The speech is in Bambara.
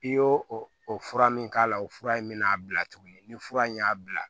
I y'o o fura min k'a la o fura in bɛ n'a bila tuguni ni fura in y'a bila